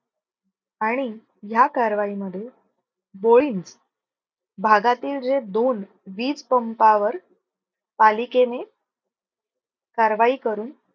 आणि ह्या कारवाईमध्ये भागातील जे दोन वीज पंपावर पालिकेने कारवाई करून.